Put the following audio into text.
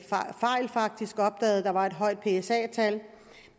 der var et højt psa tal